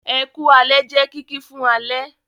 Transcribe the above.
"Ẹku alẹ́" jẹ kìki fún alẹ́.